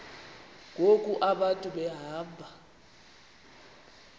ngoku abantu behamba